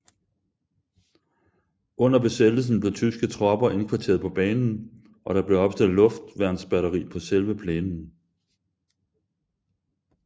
Under besættelsen blev tyske tropper indkvarteret på banen og der blev opstillet luftværnsbatteri på selve plænen